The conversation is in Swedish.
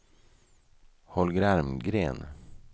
Holger Almgren